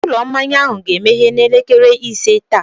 Ụlọ mmanya ahụ ga-emeghe n'elekere ise taa.